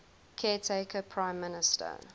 caretaker prime minister